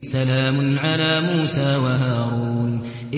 سَلَامٌ عَلَىٰ مُوسَىٰ وَهَارُونَ